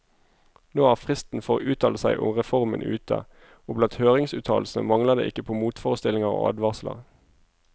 Nå er fristen for å uttale seg om reformen ute, og blant høringsuttalelsene mangler det ikke på motforestillinger og advarsler.